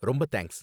ரொம்ப தேங்க்ஸ்